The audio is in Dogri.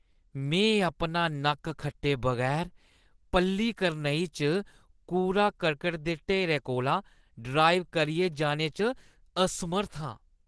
में अपना नक्क खट्टे बगैर पल्लीकरनई च कूड़ा करकट दे ढेरै कोला ड्राइव करियै जाने च असमर्थ आं।